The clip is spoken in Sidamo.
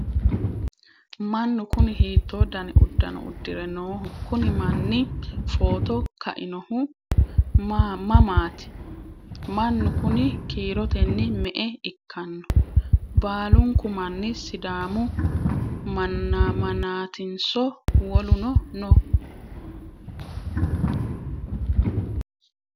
mannu kuni hiitto dani uddano uddire nooho? kuni manni footo kainohu? mamaati? mannu kuni kiirotenni me''e ikkanno? baalunku manni sidaamu mannaatinso woluno no?